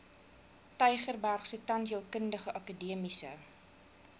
tygerbergse tandheelkundige akademiese